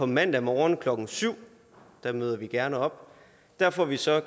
mandag morgen klokken syv møder vi gerne op der får vi så